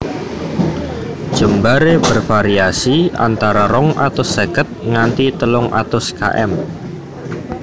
Jembaré bervariasi antara rong atus seket nganti telung atus km